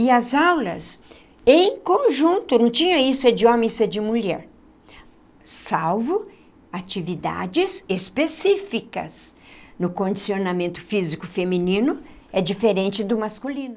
E as aulas, em conjunto, não tinha isso é de homem isso é de mulher, salvo atividades específicas no condicionamento físico feminino, é diferente do masculino.